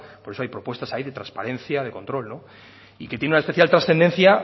por eso hay propuestas ahí de transparencia de control y que tiene una especial trascendencia